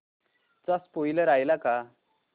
चा स्पोईलर आलाय का